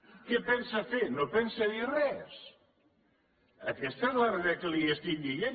què pensa fer no pensa dir res aquesta és la realitat que li estic dient